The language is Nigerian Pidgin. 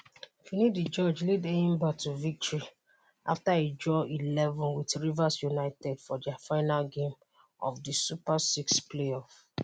finidi george lead enyimba to victory afta e draw 1-1 wit rivers united for dia final game of di super six play-off.